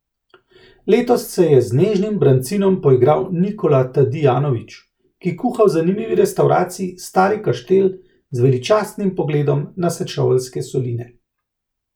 Letos se je z nežnim brancinom poigral Nikola Tadijanović, ki kuha v zanimivi restavraciji Stari Kaštel z veličastnim pogledom na Sečoveljske soline.